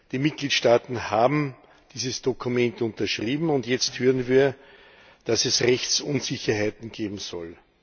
Die Mitgliedstaaten haben dieses Dokument unterschrieben, und jetzt hören wir, dass es Rechtsunsicherheiten geben soll.